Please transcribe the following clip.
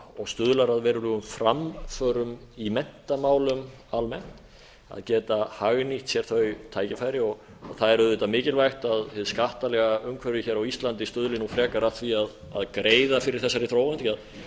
og stuðlar að verulegum framförum í menntamálum almennt að geta hagnýtt sér þau tækifæri það er auðvitað mikilvægt að hið skattalega umhverfi hér á íslandi stuðli nú frekar að því að greiða fyrir þessari þróun því það er